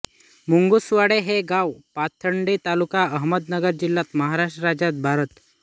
मुंगुसवाडे हे गाव पाथर्डी तालुका अहमदनगर जिल्हा महाराष्ट्र राज्य भारत